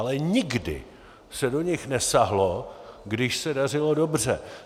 Ale nikdy se do nich nesáhlo, když se dařilo dobře.